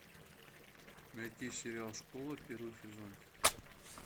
найти сериал школа первый сезон